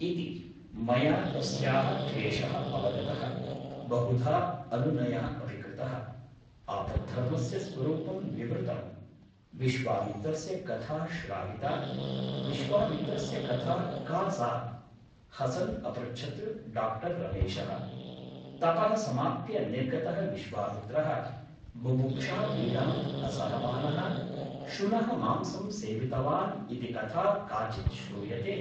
इति । मया तस्याः क्लेशः अवगतः । बहुधा अनुनयः अपि कृतः । आपद्धर्मस्य स्वरूपं विवृतम् । विश्वामित्रस्य कथा श्राविता । विश्वामित्रस्य कथा का सा ? हसन् अपृच्छत् डा रमेशः । तपः समाप्य निर्गतः विश्वामित्रः बुभुक्षापीडाम् असहमानः शुनः मांसं सेवितवान् इति कथा काचित् श्रूयते ।